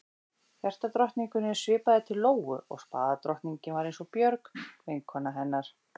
Hjartadrottningunni svipaði til Lóu og spaðadrottningin var eins og Björg, vinkona hennar.